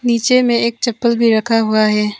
इसे मैं एक चप्पल भी रखा हुआ है।